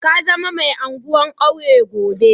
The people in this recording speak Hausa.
Ka zama mai anguwan kauye gobe.